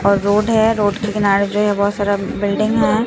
और रोड है रोड के किनारे पे बहोत सारा बिल्डिंग है।